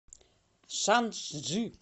шанчжи